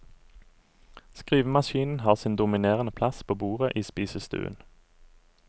Skrivemaskinen har sin dominerende plass på bordet i spisestuen.